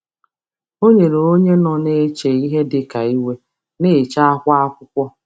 Ọ Ọ nyere onye nọ na-eche ihe dị ka iwe na-eche akwa akwụkwọ.